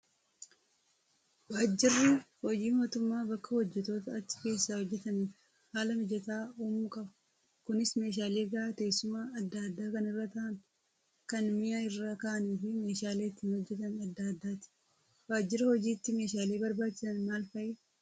Waajirri hojii mootummaa bakka hojjattoota achi keessa hojjataniif haala mijataa uumuu qaba. Kunis meeshaalee gahaa teessuma adda addaa kan irra taa'an, kan mi'a irra kaa'anii fi meeshaalee ittiin hojjatan adda addaati. Waajjira hojiitti messhaalee barbaachisan maal fa'i?